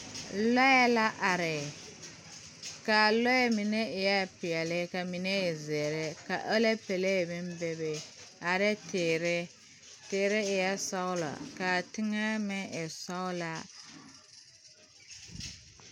Lɔɛ la are kaa lɔɛ mine eɛɛ peɛle kaa mine e zeere ka aloopelee meŋ bebe ane teere teere eɛɛ sɔglɔ kaa teŋɛ meŋ e sɔglaa.